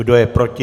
Kdo je proti?